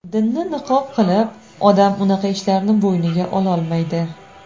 Dinni niqob qilib, odam unaqa ishlarni bo‘yniga ololmaydi.